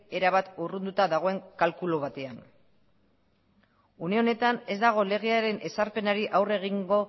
erabat urrunduta dagoen kalkulu batean une honetan ez dago legearen ezarpenari aurre egingo